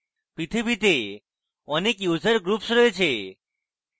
পৃথিবীতে অনেক user groups রয়েছে